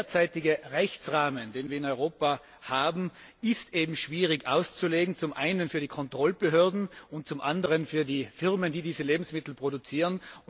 Der derzeitige Rechtsrahmen, den wir in Europa haben, ist schwierig auszulegen, zum einen für die Kontrollbehörden und zum anderen für die Firmen, die diese Lebensmittel produzieren.